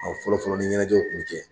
fɔlɔ fɔlɔ ni ɲɛnajɛw kun bɛ kɛ